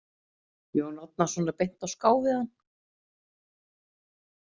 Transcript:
Jón Árnason er beint á ská við hann.